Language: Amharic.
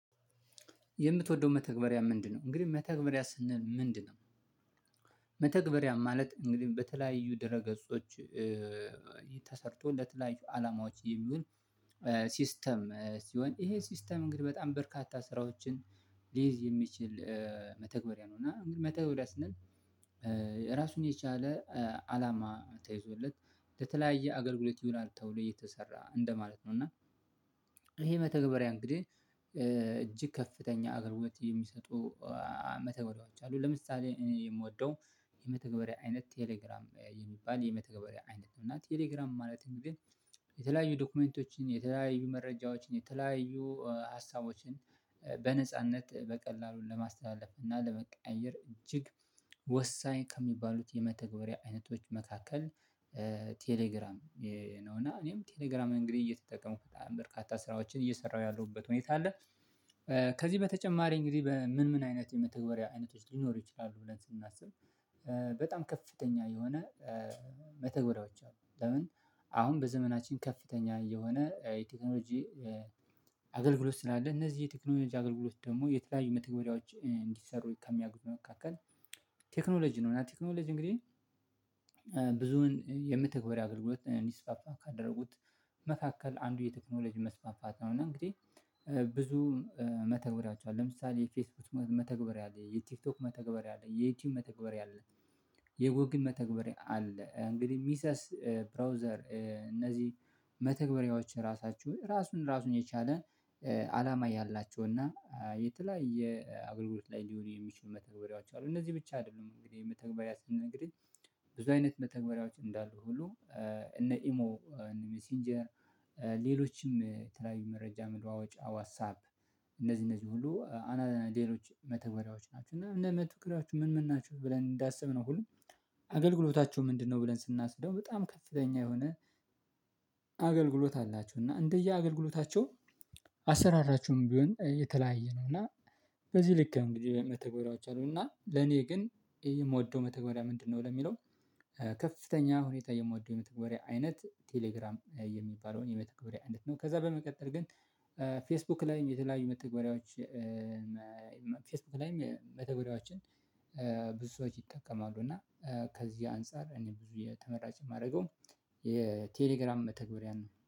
የምትወደው መተግበሪያ ምንድነው? እንግዲህ መተግበሪያ ስንል ምንድነው? መተግበሪያ ማለት እንግዲህ በተለያዩ ድረ ገጾች ተሰርቶ ለተለያዩ አላማዎች የሚሆን ሲስተም ሲሆን ይሄ ሲስተም እንግዲህ በጣም በርካታ ስራዎችን ሊይዝ የሚችል መተግበሪያ ነው እና መተግበሪያ ስንል ራሱን የቻለ አላማ ተይዞለት ለተለያየ አገልግሎት ይውላል ተብሎ እየተሰራ እንደማለት ነው። እና ይሄ መተግበሪያ እንግዲህ እጅግ ከፍተኛ አገልግሎት የሚሰጡ መተግበሪያዎች አሉ ለምሳሌ እኔ የምወደው የመተግበሪያ አይነት ቴሌግራም የሚባል የመተገበሪያ አይነት ነው። እና ቴሌግራም ማለትም ግን የተለያዩ ዶክመንቶችን የተለያዩ መረጃዎችን የተለያዩ ሀሳቦችን በነጻነት በቀላሉን ለማስተላለፍ እና ለመቀየር እጅግ ወሳኝ ከሚባሉት የመተግበሪያ አይነቶች መካከል ቴሌግራም ነው። እና እኔም ቴሌግራም እንግዲህ እየተጠቀሙ በጣም በርካታ ስራዎችን እየሰራሁ ያለሁበት ሁኔታ አለ። ከዚህ በተጨማሪ እንግዲህ በምን ምን አይነት የመተግበሪያ አይነቶች ሊኖሩ ይችላሉ? ብለን ስናስብ በጣም ከፍተኛ የሆነ መተግበሪያዎች አሉ። ለምን አሁን በዘመናችን ከፍተኛ የሆነ የቴክኖሎጂ አገልግሎት ስላለ እነዚህ የቴክኖሎጂ አገልግሎት ደግሞ የተለያዩ መተግበሪያዎች እንዲሰሩ ከሚያግብ መካከል ቴክኖሎጂ ነው። እና ቴክኖሎጂ እንግዲህ ብዙን የምትግበሪ አገልግሎት እንዲስፋፋ ካደረጉት መካከል አንዱ የቴክኖሎጂ መስፋፋት ነው። እና እንግዲህ ብዙ መተግብሪያዎች ኣሉ ለምሳሌ የፌስቡት መተግበር ያለ የቲክቶክ መተግበር ያለ የዩቲዩብ መተግበር ያለ የጎግል መተግበር አለ። እንግዲህ ሚሰስ ብራውዘር እነዚህ መተግበሬዎች ራሳቸው ራሱን ራሱን የቻለ አላማ ያላቸው እና የተለያየ የአጎልግሎት ላይ ሊውሉ የሚችሉ መተግበሪያዎች አሉ። እነዚህ ብቻ አይደሉም እንግዲህ መተግበሪያ ስንል እንግዲ ብዙ አይነት መተግበሪያዎች እንዳሉ ሁሉ እነ ኢሞ ሜሴንጀር ሌሎችም ተለያዩ መረጃ መለዋወዋጫ ዋትሳፕ እነዚህ እነዚህ ሁሉ አና አናሌሎች መተገሪያዎች ናቸው። እና መትኩራችሁ ምን ምን ናቸው ብለን እንዳስብ ነው ሁሉም አገልግሎታቸው ምንድነው? ብለን ስናስደው በጣም ከፍተኛ የሆነ አገልግሎት አላቸው። እና እንደየአገልግሎታቸው አሰራራችሁም ቢሆን የተለያየ ነው። እና በዚህ ልክ እንግዲህ በመተጎደራችሁ አሉና ለኔ ግን የምወደው መተግበሪያ ምንድነው? ለሚለው ከፍተኛ ሁኔታ የምወደው የመተግበሪያ አይነት ቴሌግራም የሚባለውን የመተግበሪያ አንድ ነው። ከዛ በመቀጠል ግን ፌስቡክ ላይም የተለያዩ መተግበሪያዎች ላይም መተግሪያዎችን ብዙ ሰዎች ይጠቀማሉ እና ከዚህ አንፃር እኔ ብዙ የተመራጭ የማደርገው የቴሌግራም መተግበሪያ ነው